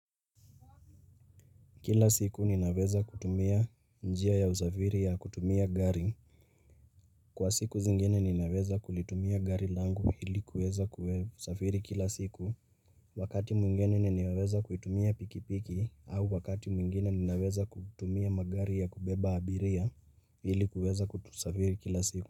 Kila siku ninaweza kutumia njia ya usafiri ya kutumia gari, kwa siku zingine ninaweza kulitumia gari langu hili kuweza kusafiri kila siku Wakati mwingine ninaweza kutumia pikipiki au wakati mwingine ninaweza kutumia magari ya kubeba abiria ili kuweza kusafiri kila siku.